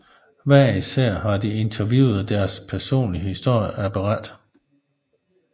Hver især har de interviewede deres personlige historie at berette